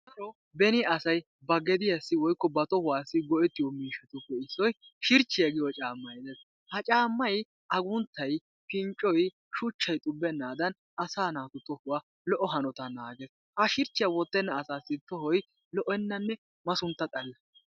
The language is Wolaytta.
Nu dere asay ba gediyassi/ba tohuwassi go'ettiyo miishshatuppe issoy shirchchiya giyo caammay dees. Ha caammay agunttay, pinccoy, shuchchay xubbennaadan asaa naatu tohuwa keehippe naagees. Ha shirchchiya wottenna asaassi tohoy lo'ennanne masuntta xalla.